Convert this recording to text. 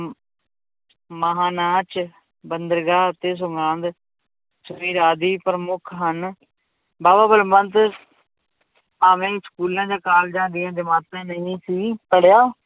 ਮਹਾਂ ਨਾਚ, ਬੰਦਰਗਾਹ ਅਤੇ ਆਦਿ ਪ੍ਰਮੁੱਖ ਹਨ ਬਾਵਾ ਬਲਵੰਤ ਭਾਵੇਂ ਸਕੂਲਾਂ ਜਾਂ ਕਾਲਜਾਂ ਦੀਆਂ ਜਮਾਤਾਂ ਨਹੀਂ ਸੀ ਪੜ੍ਹਿਆ